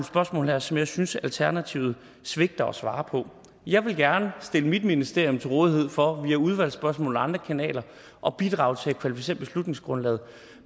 spørgsmål her som jeg synes alternativet svigter at svare på jeg vil gerne stille mit ministerium til rådighed for via udvalgsspørgsmål og andre kanaler at bidrage til at kvalificere beslutningsgrundlaget